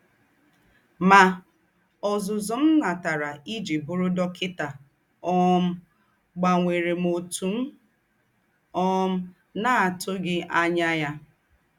Mà, ọ́zùzù m̀ nátàrà íjí bụrụ̀ dọ́kịtà um gbànwèrè m ótù m̀ um ná-àtùghí ànyà ya.